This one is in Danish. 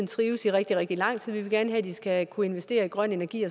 trives i rigtig rigtig lang tid vi vil gerne have at de skal kunne investere i grøn energi og